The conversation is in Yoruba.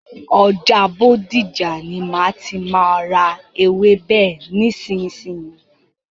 Ọjà Bódìjà ni má tí má a ra ewébè nísìsiyìí.